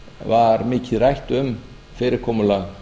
var mikið rætt um fyrirkomulag